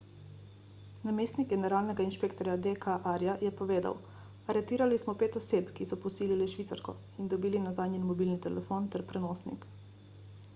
namestnik generalnega inšpektorja d k arya je povedal aretirali smo pet oseb ki so posilile švicarko in dobili nazaj njen mobilni telefon ter prenosnik